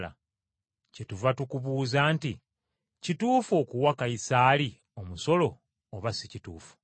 Kyetuva tukubuuza nti kituufu okuwa Kayisaali omusolo oba si kituufu?”